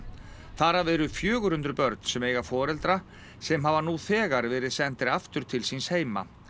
þar af eru fjögur hundruð börn sem eiga foreldra sem hafa nú þegar verið sendir aftur til síns heima